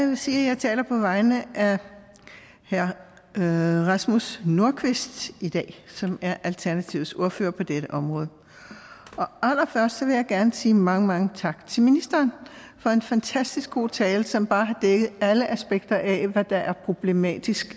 sige at jeg taler på vegne af herre rasmus nordqvist i dag som er alternativets ordfører på dette område allerførst vil jeg gerne sige mange tak til ministeren for en fantastisk god tale som bare har dækket alle aspekter af hvad der er problematisk